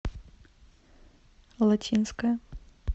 латинская